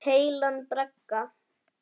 Heilan bragga.